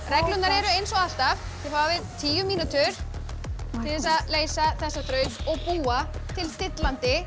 reglurnar eru eins og alltaf þið hafið tíu mínútur til þess að leysa þessa þraut og búa til dillandi